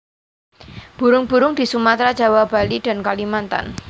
Burung burung di Sumatera Jawa Bali dan Kalimantan